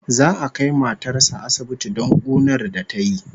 Za'a kai matar sa asibiti don kunar da tayi